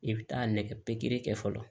I bɛ taa nɛgɛ pikiri kɛ fɔlɔ